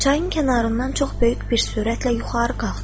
Çayın kənarından çox böyük bir sürətlə yuxarı qalxdım.